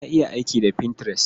Na iya aiki da Pinterest.